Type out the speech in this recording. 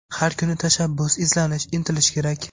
Har kuni tashabbus, izlanish, intilish kerak.